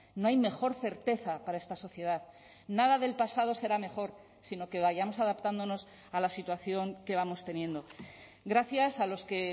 no hay mejor certeza para esta sociedad nada del pasado será mejor sino que vayamos adaptándonos a la situación que vamos teniendo gracias a los que